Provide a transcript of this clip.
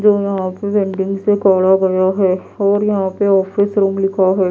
जो यहां पे वेंडिंग से गाढ़ा गया है और यहां पे ऑफिस रूम लिखा है।